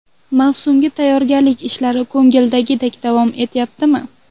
Mavsumga tayyorgarlik ishlari ko‘ngildagidek davom etyaptimi?